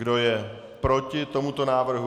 Kdo je proti tomuto návrhu?